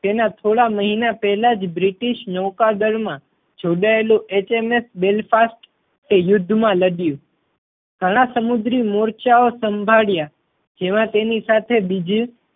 તેના થોડા મહિના પહેલા જ બ્રિટિશ નૌકાદળ માં જોડાયેલું HMS Belfast તે યુદ્ધ માં લડયું. ઘણા સમુદ્રી મોરચાઓ સંભાળ્યા જેમાં તેની સાથે બીજી